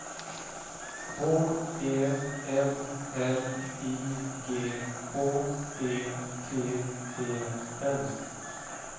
H E M L I G H E T E N